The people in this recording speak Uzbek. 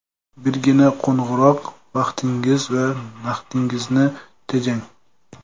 Birgina qo‘ng‘iroq – vaqtingiz va naqdingizni tejang!